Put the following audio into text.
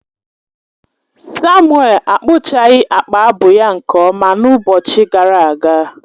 Samuel akpụchaghị akpa abu ya nke ọma n’ụbọchị gara aga